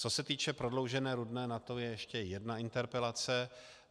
Co se týče prodloužené Rudné, na to je ještě jedna interpelace.